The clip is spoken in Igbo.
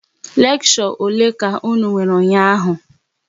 Leksho ole ka unu nwere ụnyaahụ?